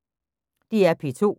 DR P2